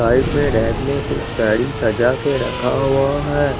right में रैप में कुछ साडी सजा के रखा हुआ ह--